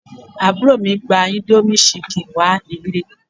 Àbúrò mi gba indomie chicken wá ilé